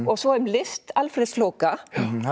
svo um list Alfreðs flóka